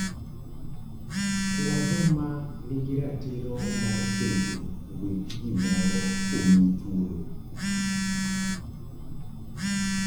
Kwa joma nigi ratiro mar bedo weg gimoro omiyi thuolo.